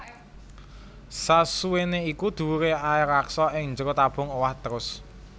Sasuwèné iku dhuwuré air raksa ing jero tabung owah trus